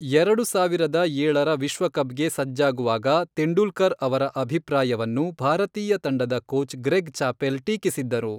ಎರಡು ಸಾವಿರದ ಏಳರ ವಿಶ್ವಕಪ್ಗೆ ಸಜ್ಜಾಗುವಾಗ, ತೆಂಡೂಲ್ಕರ್ ಅವರ ಅಭಿಪ್ರಾಯವನ್ನು ಭಾರತೀಯ ತಂಡದ ಕೋಚ್ ಗ್ರೆಗ್ ಚಾಪೆಲ್ ಟೀಕಿಸಿದ್ದರು.